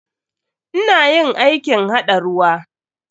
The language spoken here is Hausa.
Ina yin aikin haɗa ruwa.